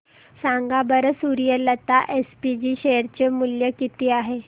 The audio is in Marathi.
सांगा बरं सूर्यलता एसपीजी शेअर चे मूल्य किती आहे